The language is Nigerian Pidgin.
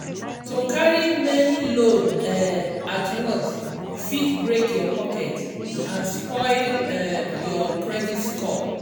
to carry many loan um at once fit break your pocket and spoil um your credit score.